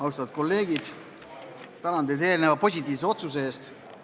Austatud kolleegid, tänan teid eelneva positiivse otsuse eest!